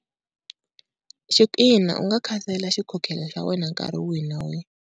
u nga khansela xikhokhelo xa wena nkarhi wihi na wihi.